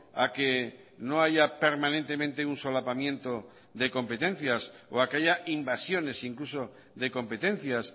a que no haya permanentemente un solapamiento de competencias o a que haya invasiones incluso de competencias